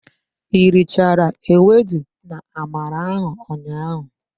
I richara ewedu na-amala ahụ ụnyaahụ?